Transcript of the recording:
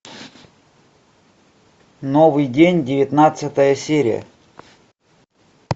новый день девятнадцатая серия